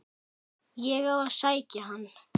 Á ég að sækja hann?